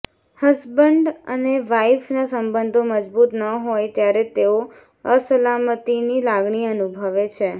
husband અને વાઇફના સંબંધો મજબૂત ન હોય ત્યારે તેઓ અસલામતિની લાગણી અનુભવે છે